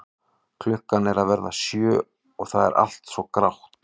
Klukkan er að verða sjö og það er allt svo grátt.